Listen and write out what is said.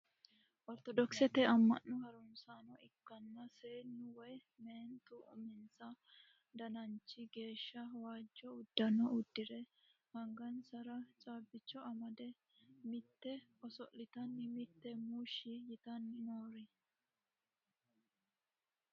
Ortodokisete amma'no harunsaano ikkanno seenni woy meenti uminsa dananchi geeshsha waajjo uddano uddire angansara caabbicho amade mitte oso'litanna mitte muushshi yitanna noore.